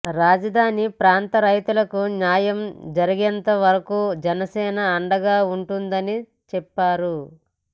రాజధాని ప్రాంత రైతులకు న్యాయం జరిగేంత వరకు జనసేన అండగా ఉంటుందని చెప్పారు